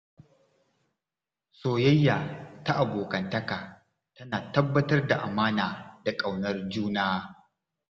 Soyayya ta abokantaka tana tabbatar da amana da ƙaunar juna.